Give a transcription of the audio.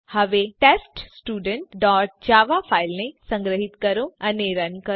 હવે teststudentજાવા ફાઈલને સંગ્રહીત કરો અને રન કરો